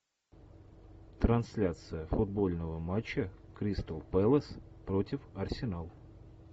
трансляция футбольного матча кристал пэлас против арсенал